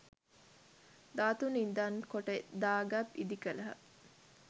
ධාතු නිදන් කොට දාගැබ් ඉදි කළහ.